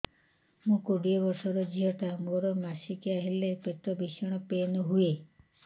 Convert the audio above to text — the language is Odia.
ମୁ କୋଡ଼ିଏ ବର୍ଷର ଝିଅ ଟା ମୋର ମାସିକିଆ ହେଲେ ପେଟ ଭୀଷଣ ପେନ ହୁଏ